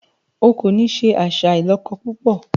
O kò ní se àṣà ìlọ́kọ púpọ̀!